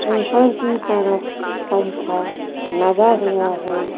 ऊपर की तरफ पंखा लगा हुआ है।